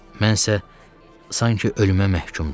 Mən isə, sanki ölümə məhkumdum.